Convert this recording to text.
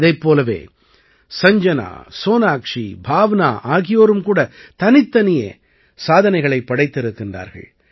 இதைப் போலவே சஞ்ஜனா சோனாக்ஷீ பாவ்னா ஆகியோரும் கூட தனித்தனியே சாதனைகளைப் படைத்திருக்கிறார்கள்